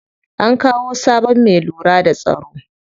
An kawo sabon me lura da tsaro.